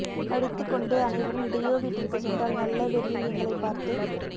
அடித்துக்கொண்டு அனைவரும் டியோ வீட்டிற்கு சென்றால் நல்ல வெறியில் எங்களை பார்த்து